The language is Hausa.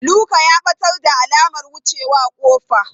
Luka ya ɓatar da alamar wucewa ƙofa.